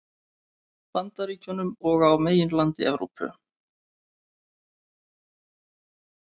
Bandaríkjunum og á meginlandi Evrópu.